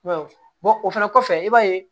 I b'a ye o fɛnɛ kɔfɛ i b'a ye